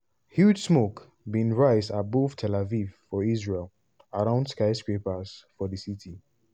huge smoke bin rise above tel aviv for israel around skyscrapers for di city.